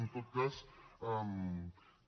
en tot cas que